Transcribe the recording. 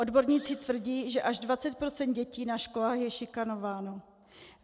Odborníci tvrdí, že až 20 % dětí na školách je šikanováno.